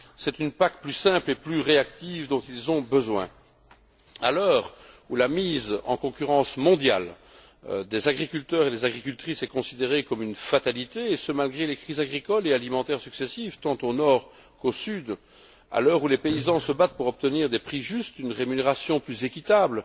C'est une PAC plus simple et plus réactive dont ils ont besoin. À l'heure où la mise en concurrence mondiale des agriculteurs et des agricultrices est considérée comme une fatalité, et ce malgré les crises agricoles et alimentaires successives, tant au nord qu'au sud, à l'heure où les paysans se battent pour obtenir des prix justes, une rémunération plus équitable